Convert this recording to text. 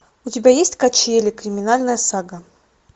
у тебя есть качели криминальная сага